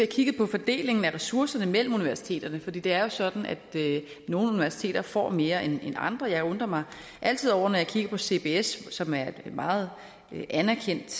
kigget på fordelingen af ressourcerne mellem universiteterne for det det er jo sådan at nogle universiteter får mere end andre jeg undrer mig altid over når jeg kigger på cbs som er et meget anerkendt